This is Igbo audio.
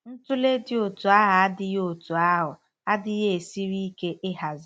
Ntụle dị otú ahụ adịghị otú ahụ adịghị esiri ike ịhazi.